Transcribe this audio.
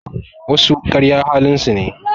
Wasu karya halin su ne